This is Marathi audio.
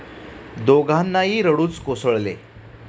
दोघांनाही रडूच कोसळले.